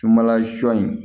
Sunbala sɔ in